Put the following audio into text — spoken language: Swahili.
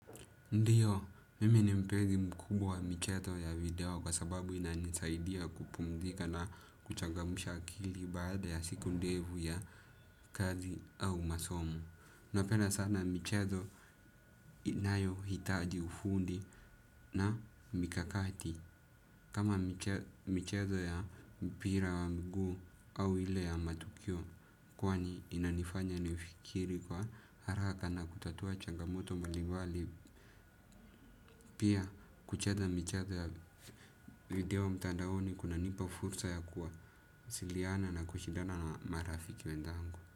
Ndiyo, mimi ni mpezi mkubwa wa micheto ya video kwa sababu inanisaidia kupumdhika na kuchangamsha akili baada ya siku ndevu ya kazi au masomu. Napenda sana michetho inayohitaji ufundi na mikakati. Kama michezo ya mpira wa mguu au ile ya matukio kwani inanifanya nifikiri kwa haraka na kutatua changamoto mbalimbali. Pia kuchatha michetho ya video mtandaoni kunanipa fursa ya kuwasiliana na kushidana na marafiki wenthangu.